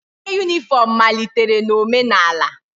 Uwe uniform malitere na omenala